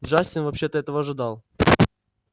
джастин вообще-то этого ожидал